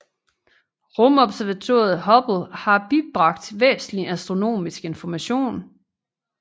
Rumobservatoriet Hubble har bibragt væsentlig astronomisk information